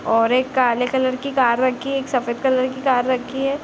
और एक काले कलर की कार रखी है और सफ़ेद कलर की कार रखी है।